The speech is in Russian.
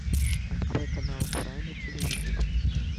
открой канал курай на телевизоре